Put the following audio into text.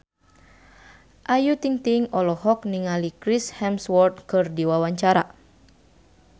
Ayu Ting-ting olohok ningali Chris Hemsworth keur diwawancara